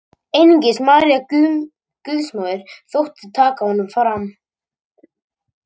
Einungis María Guðsmóðir þótti taka honum fram.